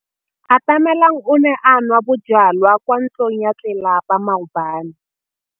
Atamelang o ne a nwa bojwala kwa ntlong ya tlelapa maobane.